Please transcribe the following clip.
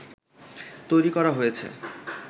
তৈরি করা হয়েছে